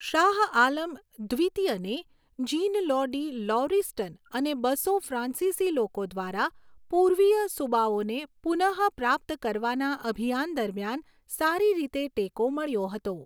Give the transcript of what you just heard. શાહ આલમ દ્વિતીયને Jean Law de Lauriston અને બસો ફ્રાન્સીસી લોકો દ્વારા પૂર્વીય સુબાઓને પુનઃપ્રાપ્ત કરવાના અભિયાન દરમિયાન સારી રીતે ટેકો મળ્યો હતો.